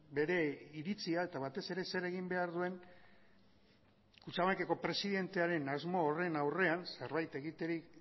bere iritzia eta batez ere zer egin behar duen kutxabankeko presidentearen asmo horren aurrean zerbait egiterik